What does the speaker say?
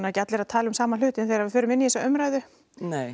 ekki allir að tala um sama hlutinn þegar við förum inn í þessa umræðu